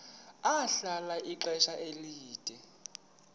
ahlala ixesha elide